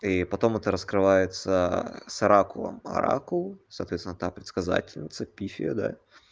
и потом это раскрывается с оракулом оракул соответственно та предсказательница пифия да